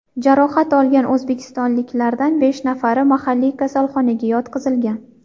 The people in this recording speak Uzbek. Jarohat olgan o‘zbekistonliklardan besh nafari mahalliy kasalxonaga yotqizilgan .